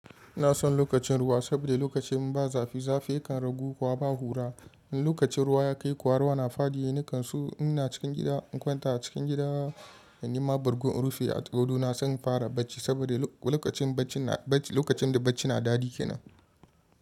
Ina son lokacin ruwa saboda lokacin ba zafi, zafi kan ragu kuma ba ƙura. In lokacin ruwa ya kai kuwa ruwa na faɗi, ni kanso ina cikin gida, in kwanta a cikin gida, in yi ma bargon rufi a wuri na, ina son fara bacci saboda lokacin da bacci na daɗi kenan.